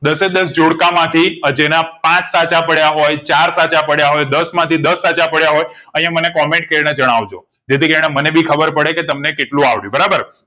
દાસે દસ જોડકા માંથી જે ના પાંચ સાચા પડયા હોય ચાર સાચા પડયા હોય દસ માંથી દસ સાચા પાડયા હોય અહીંયા મને comment કરી ને જણાવજો જેથી કરી ને મને ભી ખબર પડે કે તમે કેટલું આવડયું બરાબર